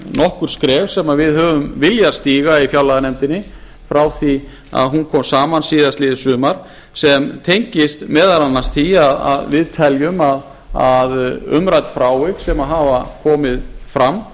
nokkur skref sem við höfum viljað stíga í fjárlaganefndinni frá því að hún kom saman síðastliðið sumar sem tengist meðal annars því að við teljum að umrædd frávik sem hafa komið fram